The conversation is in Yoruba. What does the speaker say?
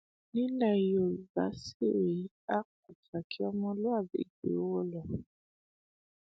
nílẹ yorùbá sì rèé á pàtàkì ọmọlúàbí ju owó lọ